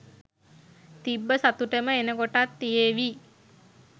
තිබ්බ සතුටම එනකොටත් තියේවි